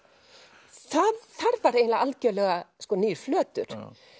þar var eiginlega algjörlega nýr flötur